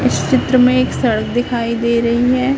इस चित्र में एक सड़क दिखाई दे रही है।